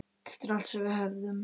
Eftir allt sem við höfum.